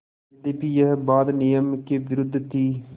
यद्यपि यह बात नियम के विरुद्ध थी